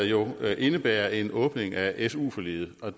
jo indebærer en åbning af su forliget og